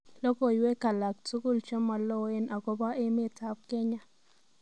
Logoywek alak tugul chemaloen agoba emetab Kenya